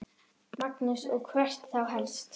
Magnús: Og hvert þá helst?